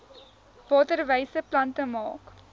waterwyse plante maak